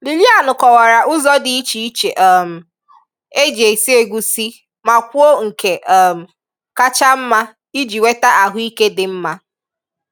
Lilian kọwara ụzọ di ịche ịche um e ji esi egusi ma kwụọ nke um kacha mma iji nweta ahụike dị mmá